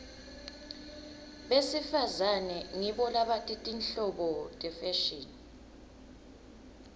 besifazane ngibo labati tinhlobo tefashini